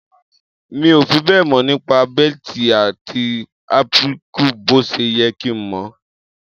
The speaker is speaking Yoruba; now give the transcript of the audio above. Mi ò fi bẹ́ẹ̀ mọ̀ nípa batik àti applique bó ṣe yẹ kí n mọ̀.